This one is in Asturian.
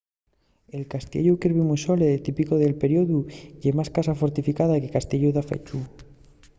el castiellu kirby muxloe típicu del periodu ye más casa fortificada que castiellu dafechu